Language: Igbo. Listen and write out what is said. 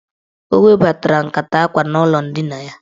O webatara nkata akwa n'ụlọ ndina ya.